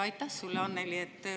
Aitäh sulle, Annely!